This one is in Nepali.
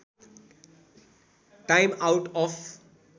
time out of